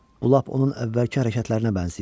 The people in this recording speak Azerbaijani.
Bu lap onun əvvəlki hərəkətlərinə bənzəyir.